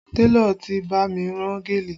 Télọ̀ ti bá mi rán gèlè